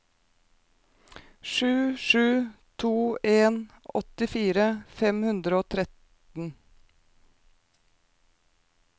sju sju to en åttifire fem hundre og tretten